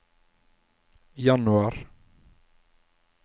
januar